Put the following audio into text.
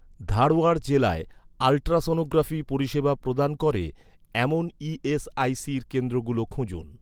ধারওয়াড় জেলায় আল্ট্রাসনোগ্রাফি পরিষেবা প্রদান করে, এমন ই.এস.আই.সির কেন্দ্রগুলো খুঁজুন